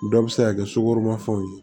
Dɔ bɛ se ka kɛ sukoro ma fɛnw ye